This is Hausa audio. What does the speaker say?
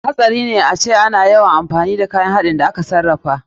Abun hatsari ne ace ana yawan amfani da kayan haɗin abinci da aka sarrafa.